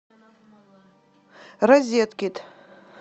розеткед